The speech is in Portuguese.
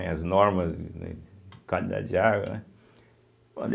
As normas, né, de qualidade de água, né?